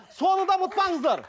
соны да ұмытпаңыздар